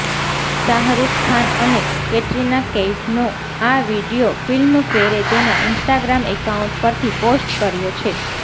શાહરૂખ ખાન અને કેટરિના કૈફનો આ વીડિયો ફિલ્મફેરે તેના ઇન્સ્ટાગ્રામ એકાઉન્ટ પરથી પોસ્ટ કર્યો છે